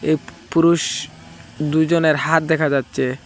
এই পুরুষ দুইজনের হাত দেখা যাচ্ছে।